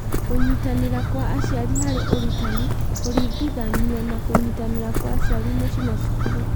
Kũnyitanĩra kwa aciari harĩ ũrutani kũringithanio na kũnyitanĩra kwa aciari mũciĩ na cukuru.